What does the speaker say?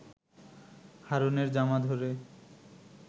হারুনের জামা ধরে